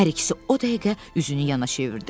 Hər ikisi o dəqiqə üzünü yana çevirdi.